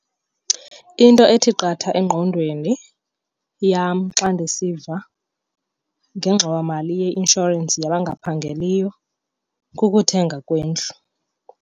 Into ethi qatha engqondweni yam xa ndisiva ngengxowamali yeinshorensi yabangaphangeliyo kukuthenga kwendlu.